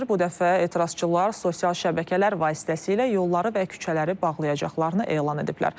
Bu dəfə etirazçılar sosial şəbəkələr vasitəsilə yolları və küçələri bağlayacaqlarını elan ediblər.